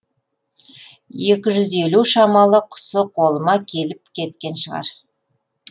екі жүз елу шамалы құсы қолыма келіп кеткен шығар